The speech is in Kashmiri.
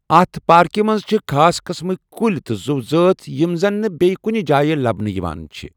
اَتھ پاركہِ مَنٛز چِھ خاص قٔسمٕکہِ کُلۍ تہٕ زُو زٲژٕ یِم زَن نہِ بیٛیہِ کُنہِ جایہِ لَبنہٕ یِوان چِھِ ۔